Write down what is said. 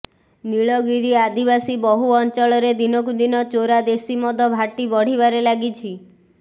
ନୀଳଗିରି ଆଦିବାସୀ ବହୁଳ ଅଂଚଳରେ ଦିନକୁ ଦିନ ଚୋରା ଦେଶୀ ମଦ ଭାଟି ବଢ଼ିବାରେ ଲାଗିଛି